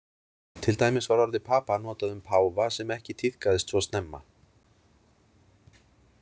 Til dæmis var orðið papa notað um páfa sem ekki tíðkaðist svo snemma.